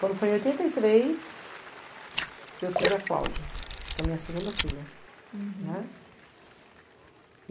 Quando foi em oitenta e três, eu tive a Cláudia, que é a minha segunda filha. Uhum. Não é?